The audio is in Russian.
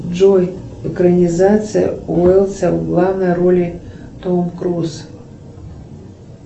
джой экранизация уэлса в главной роли том круз